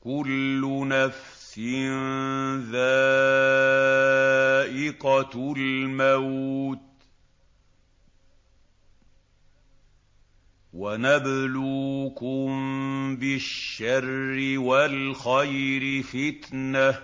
كُلُّ نَفْسٍ ذَائِقَةُ الْمَوْتِ ۗ وَنَبْلُوكُم بِالشَّرِّ وَالْخَيْرِ فِتْنَةً ۖ